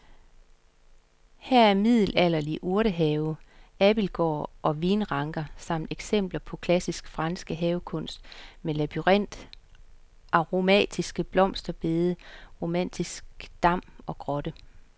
Her er middelalderlig urtehave, abildgård og vinranker samt eksempler på klassisk fransk havekunst med labyrint, aromatiske blomsterbede, romantisk dam og grotte.